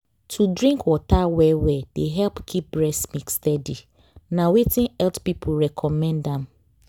to drink water well-well dey help keep breast milk steady. na wetin health people recommend am